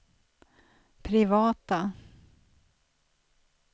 privata